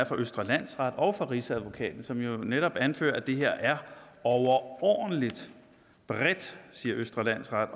fra østre landsret og rigsadvokaten som jo netop anfører at det her er overordentligt bredt siger østre landsret